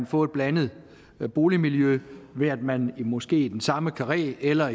få et blandet boligmiljø ved at man måske i den samme karré eller